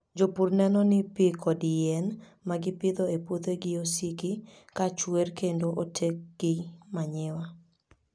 Jopur neno ni pi kod yien ma gipidho e puothegi osiki ka chuer kendo oketgi manyiwa.